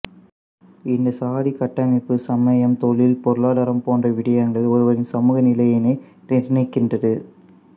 இந்தச் சாதிக்கட்டமைப்பு சமயம் தொழில் பொருளாதாரம் போன்ற விடயங்களில் ஒருவரின் சமூக நிலையினை நிர்ணயிக்கின்றது